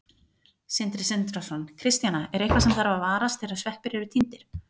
Sindri Sindrason: Kristjana, er eitthvað sem þarf að varast þegar sveppir eru tíndir?